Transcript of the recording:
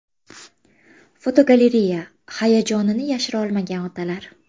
Fotogalereya: Hayajonini yashira olmagan otalar.